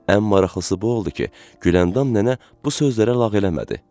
Ən maraqlısı bu oldu ki, Güləndam nənə bu sözlərə lağ eləmədi.